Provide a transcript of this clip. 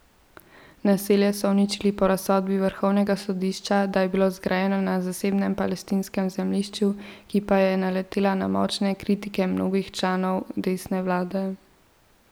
Naselje so uničili po razsodbi vrhovnega sodišča, da je bilo zgrajeno na zasebnem palestinskem zemljišču, ki pa je naletela na močne kritike mnogih članov desne vlade.